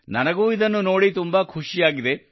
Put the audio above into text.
ನನಗೂ ಇದನ್ನು ನೋಡಿ ತುಂಬಾ ಖುಷಿಯಾಗಿದೆ